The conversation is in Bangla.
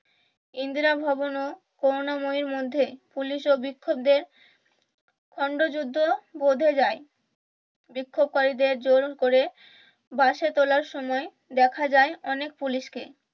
ইন্দিরা ভবন ও করুণাময়ী মধ্যে ও পুলিশ বিক্ষোকারীদের খন্ড যুদ্ধ বেঁধে যাই বিক্ষোপকারীদের জোর করে বাসে তুলার সময় দেখা যায় অনেক পুলিশ কে